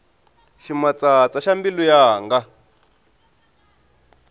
ximatsatsa xa mbilu yanga